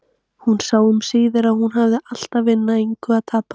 Hún sá um síðir að hún hafði allt að vinna, engu að tapa.